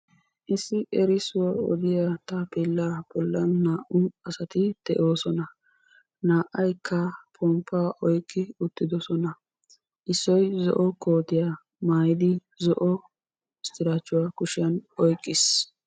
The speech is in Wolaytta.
Issi erissuwa odiya taappeella bollan naa"u asati de'oosona. Naa"ayikka pmppaa oyikki uttidosona. Issoy zo'o kootiya maayiddi zo'o istiraachchuwa kushiyan oyiqqis.